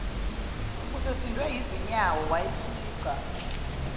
usesindwe yizinyawo wayifica